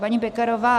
Paní Pekarová